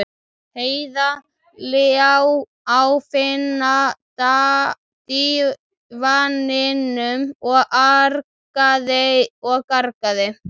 Heiða lá á fína dívaninum og argaði og gargaði.